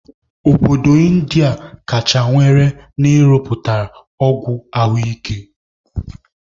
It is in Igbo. Obodo Indiya nwere kacha na-ịrụpụta ọgwụ ahụ ike